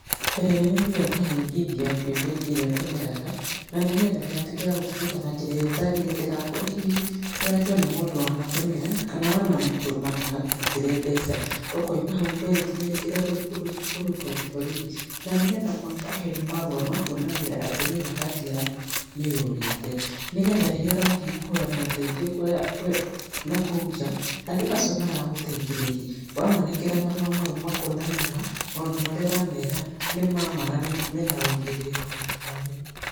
Mbere nene ũthiaga ũkahingithia kwĩ bengi ĩrĩa ũtũmĩraga, na nĩ getha ndĩgatuĩke ya gũtũmĩka na njĩra ĩrĩa ĩtagĩrĩire. Ndĩgakorwo hihi yoetwo nĩ mũndũ wanatũmĩra, kana wanamũtũma agakũrutĩre mbeca. Ũkauma hau ũkoya ikinya rĩngĩ rĩa gũthiĩ kũriboti borithi. Na nĩ getha makũhe marũa ma kuonania atĩ nĩma kandi yaku nĩ yũrĩte. Nĩ getha rĩrĩa ũrathiĩ kũhoya moteithio nakũu nja, andũ acio maragũteithĩrĩria wamanengera marũa mau makona nĩ ma maũndũ marĩa ũramera nĩ ma maa na mena ũigĩrĩku mũkinyanĩru.